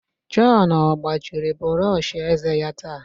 John ọ gbajiri brọsh eze ya taa?